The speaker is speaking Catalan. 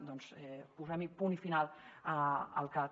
doncs posem·hi punt final al cat